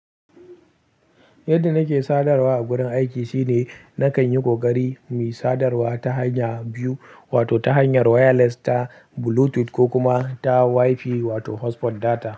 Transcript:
Yadda nake sadarwa a gurin aiki shine nakan yi ƙoƙari mu yi sadarwa ta hanya biyu wato ta hanyar wireless ta Bluetooth ko kuma ta Wi-Fi wato hotspot data.